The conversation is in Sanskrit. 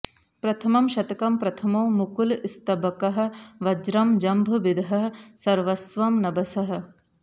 प्रथमं शतकम् प्रथमो मुकुलस्तबकः वज्रं जम्भभिदः सर्वस्वं नभसः